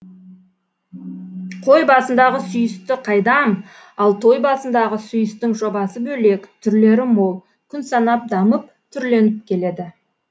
қой басындағы сүйісті қайдам ал той басындағы сүйістің жобасы бөлек түрлері мол күн санап дамып түрленіп келеді